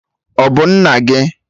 Ọ bụ nna gị?